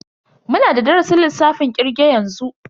Muna da darasin lissafin kirge yanzu.